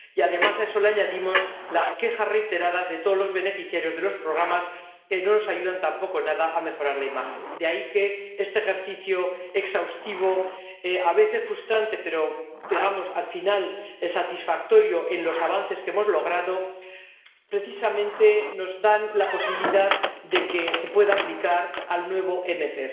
Y, además, a eso le añadimos las quejas reiteradas de todos los beneficiarios de los programas, que no nos ayudan tampoco nada a mejorar la imagen. De ahí que este ejercicio exhaustivo, a veces frustrante, pero al final satisfactorio en los avances que hemos logrado, precisamente nos da la posibilidad de poder aplicarlo al nuevo MFP.